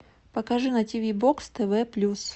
покажи на тв бокс тв плюс